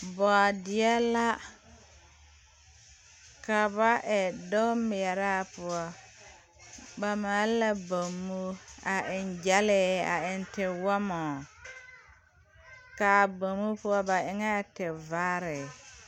Bɔɔdeɛ la ka ba e dug mɛɛraa poɔ ba maale la bommo a eŋ gyɛlee a eŋ tiwɔmɔ kaa bommo poɔ ba eŋɛɛ ti vaare.